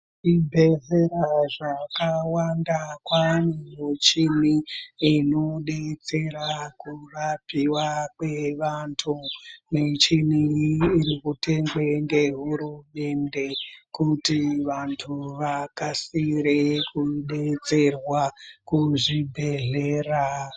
Zvibhedhlera zvakawanda kwava nemichini inodetsera kurapiwa kwevantu michini iyi irikutengwe nehurumende kuti vantu vakasire kudetserwa kuzvibhedhlera.